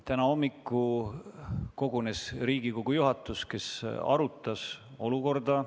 Täna hommikul kogunes Riigikogu juhatus ja arutas olukorda.